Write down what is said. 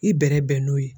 I bɛrɛbɛn bɛn n'o ye